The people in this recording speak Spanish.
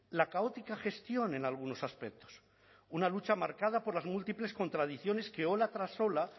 la caótica gestión en algunos aspectos una lucha marcada por las múltiples contradicciones que ola tras ola